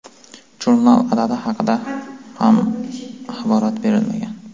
Jurnal adadi haqida ham axborot berilmagan.